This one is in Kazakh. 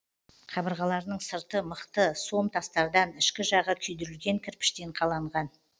қабырғаларының сырты мықты сом тастардан ішкі жағы күйдірілген кірпіштен қаланған